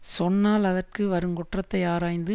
சொன்னால் அதற்கு வருங்குற்றத்தை ஆராய்ந்து